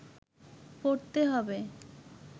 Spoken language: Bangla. পড়তে হবে